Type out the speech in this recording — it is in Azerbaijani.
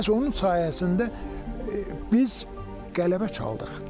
Məhz onun sayəsində biz qələbə çaldıq.